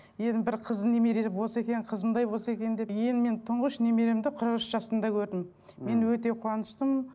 енді бір қыз немере болса екен қызымдай болса екен деп енді мен тұңғыш немеремді қырық үш жасымда көрдім мхм мен өте қуаныштымын